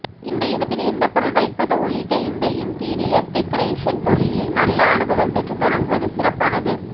எந்த இடத்தில் எந்தப் பொருள் வைப்பது உள்ளிட்ட இந்த இண்ட்ரீயர் டெக்கரேஷன் தொழிலில் நல்ல அனுபவம் பெற்று தொடங்குவது சிறப்பானது